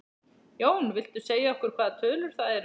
Jón: Viltu segja okkur hvaða tölur það eru?